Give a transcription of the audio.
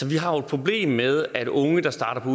vi har et problem med at unge der starter på